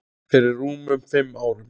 Fyrir rúmum fimm árum.